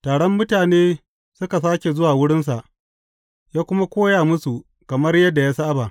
Taron mutane suka sāke zuwa wurinsa, ya kuma koya musu kamar yadda ya saba.